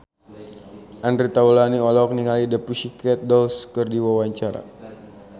Andre Taulany olohok ningali The Pussycat Dolls keur diwawancara